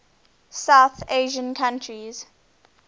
south asian countries